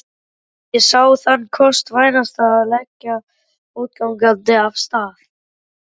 Ég sá þann kost vænstan að leggja fótgangandi af stað.